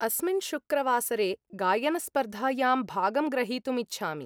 अस्मिन् शुक्रवासरे गायनस्पर्धायां भागं ग्रहीतुम् इच्छामि।